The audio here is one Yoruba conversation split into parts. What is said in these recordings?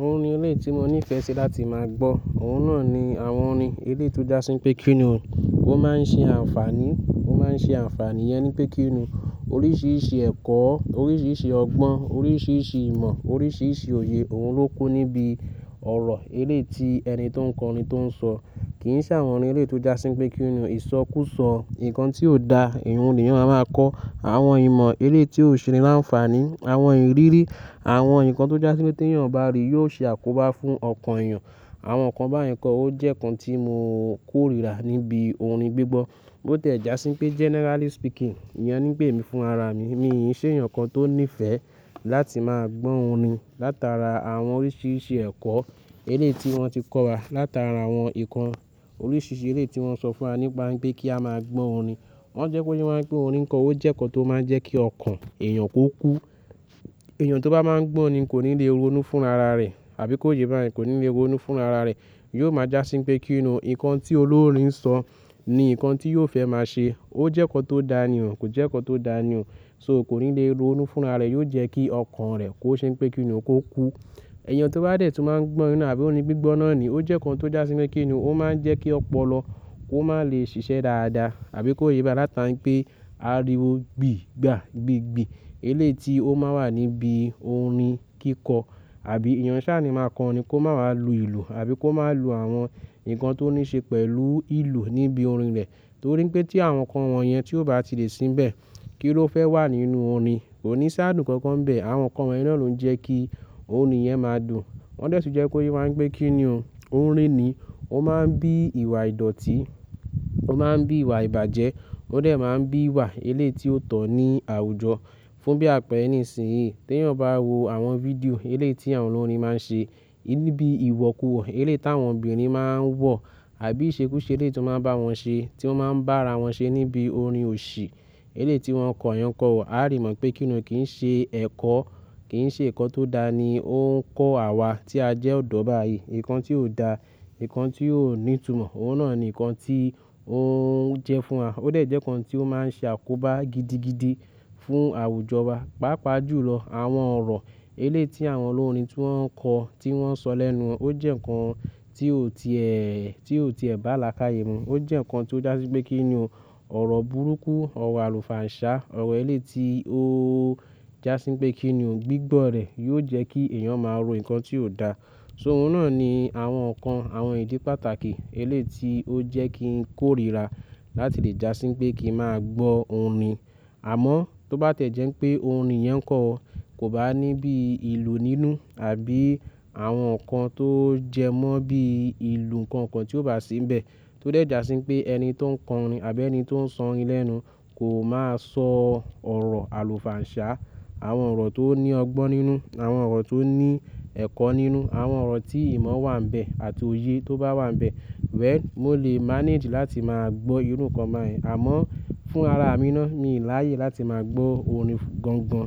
Orin eléyìí tí mo ní ìfẹ́ ṣe láti máa gbọ́. Òun náà ni àwọn orin, eléyìí to já sí pé kíni òun. Ó máa ń ṣe àǹfààní, ó máa ń ṣe àǹfààní yẹn ni pé kíni òun. Oríṣiríṣi ẹ̀kọ́, oríṣiríṣi ọgbọ́n, oríṣiríṣi ìmọ̀, oríṣiríṣi òye, òun ló kó níbi ọ̀rọ̀ eléti ẹni tó ń kọ orin tó ń sọ. Kì í ṣe àwọn orin eléto já sí pé kíni òun. Ìsọkúsọ, nǹkan tí ò da, ìhun nìyẹn máa máa kọ́. Àwọn ìmọ̀ eléyìí ti ò ṣe ni láánfàní, àwọn ìrírí, àwọn nǹkan tó já sí pé tí ènìyàn bá rí yóò ṣe àkóbá fún ọkàn èèyàn. Àwọn nǹkan báyìí kọ́ ó jẹ́ nǹkan tí mo kórìíra níbi orin gbígbọ́. Bó ti ẹ̀ já sí pé generally speaking, ìyẹn nípé èmi fúnrara mi. Mìí i ṣe èèyàn kan tó ní ìfẹ́ láti máa gbọ́ orin látara àwọn oríṣiríṣi ẹ̀kọ́ eléyìí ti wọ́n ti kọ́ wa látara àwọn nǹkan oríṣiríṣi eléyìí tí wọ́n sọ fún wa nípa pé kí a máa gbọ́ orin. Wọ́n jẹ́ kó yé wá ń pé orin kíkọ ó jẹ́ nǹkan tó máa ń jẹ́ kí ọkàn èèyàn kó kú. Èèyàn tó bá máa ń gbọ́ orin kò ní le ronú fún ara rẹ̀ àbí kó yé bá yẹn kò ní le ronú fún ara rẹ̀. Yóò máa já sí pé kíni òun. Nǹkan tí olórin ń sọ ni nǹkan tí yóò fẹ́ máa ṣe. Ó jẹ́ nǹkan tó da ni òun, kò jẹ́ nǹkan tó da ni òun. So, kò ní le ronú fún ara rẹ̀, yóò jẹ́ kí ọkàn rẹ̀ kó ṣe pé kíni òun kó kú. Èèyàn tó bá dẹ̀ tún máa ń gbọ́ orin náà àbí orin gbígbọ́ náà ni, ó jẹ́ nǹkan tó já sí pé kíni òun. Ó máa ń jẹ́ kí ọpọlọ kó máa lè ṣiṣẹ́ dáadáa àbí kó yé bá yẹn látara pé ariwo gbì gbà gbìgbì eléyìí ti ó máa wà níbi orin kíkọ. Àbí èèyàn ṣá ni máa kọ orin kó máa wà lu ìlú àbí kó máa lu àwọn nǹkan tó níí ṣe pẹ̀lú ìlú níbi orin rẹ̀. Torí pé tí àwọn nǹkan wọ̀n yẹn tí ò bá ti lè sínbẹ̀, kí ló fẹ́ wà nínú orin? Kò ní ṣá'dùn kan kan bẹ̀. Àwọn nǹkan wọ̀nyẹn ló ń jẹ́ kí orin yẹn máa dùn. Wọ́n dẹ̀ tún jẹ́ kó yé máa ń gbé kíni òun. Orin ni, ó máa ń bí ìwà ìdọ̀tí, ó máa ń bí ìwà ìbàjẹ́, ó dẹ̀ máa ń bí ìwà eléyìí ti ó tọ̀ ní àwùjọ. Fún bí àpẹẹrẹ nísìnyí, tí èèyàn bá wo àwọn fídíò eléyìí tí àwọn olórin máa ń ṣe, níbi ìwọ̀kuwọ̀ eléyìí tí àwọn obìnrin máa ń wọ̀ àbí ìṣekúṣe eléyìí tí ó máa ń bá wọn ṣe, tí ó máa ń bá ara wọn ṣe níbi orin òṣì, eléyìí tí wọ́n kọ̀ yẹn o kọ́ wa, a á rí mọ̀ pé kíni òun kì í ṣe ẹ̀kọ́, kì í ṣe nǹkan tó da ni ó ń kọ́ àwa tí a jẹ́ ọ̀dọ́ báyìí. Nǹkan tí ò da, nǹkan tí ò ní ìtumọ̀, òun náà ni nǹkan tí ó ń jẹ́ fún wa. Ó dẹ̀ jẹ́ nǹkan tí ó máa ń ṣe àkóbá gidigidi fún àwùjọ wa. Pàápàá jùlọ, àwọn ọ̀rọ̀ eléyìí tí àwọn olórin tí wọ́n ń kọ, tí wọ́n ń sọ lẹ́nu wọn, ó jẹ́ nǹkan tí ò ti ẹ̀, tí ò ti ẹ̀ bá làákàyè mu. Ó jẹ́ nǹkan tí ó já sí pé kíni òun. Ọ̀rọ̀ burúkú, ọ̀rọ̀ àlùfàǹsá, ọ̀rọ̀ eléti ó já sí pé kíni òun gbígbọ́ rẹ̀ yóò jẹ́ kí èèyàn máa ro nǹkan tí ò da. So òun náà ni àwọn nǹkan, àwọn ìdí pàtàkì eléyìí tí ó jẹ́ kí n kórìíra láti lè já sí pé kí n máa gbọ́ orin. Àmọ́ tó bá tẹ̀ jẹ́ pé orin yẹn kọ̀, kò bá ní bí ìlú nínú àbí àwọn nǹkan tó jẹ mọ́ bí ìlú nǹkan kan tí ò bá sínbẹ̀, tó dẹ̀ já sí pé ẹni tó ń kọ orin àbí ẹni tó ń sọ orin lẹ́nu kò máa sọ ọ̀rọ̀ àlùfàǹsá, àwọn ọ̀rọ̀ tó ní ọgbọ́n nínú, àwọn ọ̀rọ̀ tó ní ẹ̀kọ́ nínú, àwọn ọ̀rọ̀ tí ìmọ̀ wà níbẹ̀ àti òye tó bá wà níbẹ̀. Well, mo lè manage láti máa gbọ́ irú nǹkan báyìí. Àmọ́ fún ara mi ná, mi ò láyè láti máa gbọ́ orin gan gan.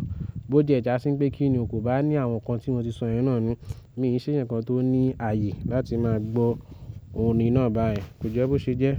Bó ti ẹ já sí pé kíni òun kò bá ní àwọn nǹkan tí mo ti sọ irẹ́ náà nù, mi ò ṣe ǹkan tó ní àyè láti máa gbọ́ orin náà báyẹn. Kò jẹ́ bó ṣe jẹ́?